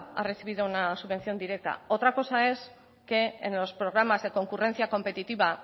ha recibido una subvención directa otra cosa es que en los programas de concurrencia competitiva